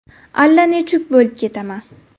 Allanechuk bo‘lib ketaman.